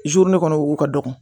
ne kɔni wo ka dɔgɔ